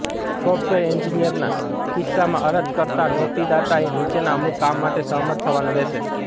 software એન્જિનિયરના કિસ્સામાં અરજકર્તા નોકરીદાતાએ નીચેના અમુક કામ માટે સહમત થવાનું રહેશે